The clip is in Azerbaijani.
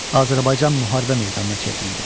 Azərbaycan müharibə meydanına çevrildi.